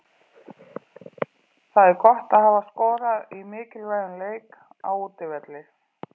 Það er gott að hafa skorað í mikilvægum leik, á útivelli.